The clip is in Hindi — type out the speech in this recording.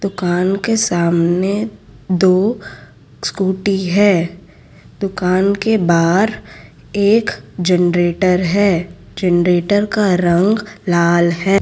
दुकान के सामने दो स्कूटी है दुकान के बाहर एक जनरेटर है जनरेटर का रंग लाल है।